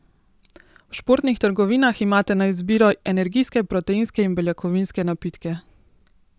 V športnih trgovinah imate na izbiro energijske, proteinske in beljakovinske napitke.